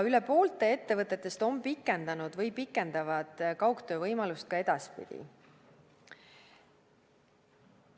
Üle poole ettevõtetest on pikendanud või pikendavad kaugtöövõimalust ka edaspidi.